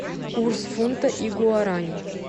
курс фунта и гуарани